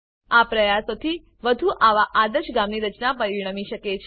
આ પ્રયાસો થી વધુ આવા આદર્શ ગામની રચના પરિણમી શકે છે